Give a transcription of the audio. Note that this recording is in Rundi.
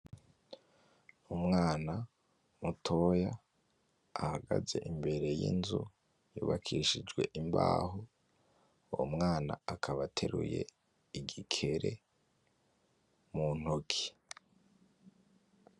Umwana mutoya ahagaze imbere y'inzu yubakishijwe imbaho. uwo mwana akaba ateruye igikere muntoki.